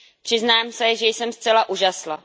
Přiznám se, že jsem zcela užasla.